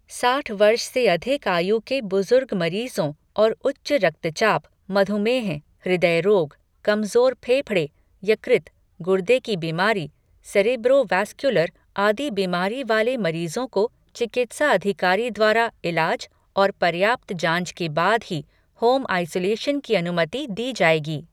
साठ वर्ष से अधिक आयु के बुज़ुर्ग मरीज़ों और उच्च रक्तचाप, मधुमेह, हृदय रोग, कमजोर फेफड़े, यकृत, गुर्दे की बीमारी, सेरेब्रो वास्क्युलर आदि बीमारी वाले मरीज़ों को चिकित्सा अधिकारी द्वारा इलाज और पर्याप्त जांच के बाद ही होम आइसोलेशन की अनुमति दी जाएगी।